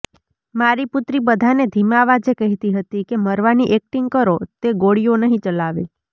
મારી પુત્રી બધાને ધીમા અવાજે કહેતી હતી કે મરવાની એક્ટિંગ કરો તે ગોળીઓ નહીં ચલાવે